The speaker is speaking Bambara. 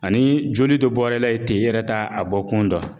Ani joli dɔ bɔr'e la ye ten i yɛrɛ t'a a bɔkun dɔn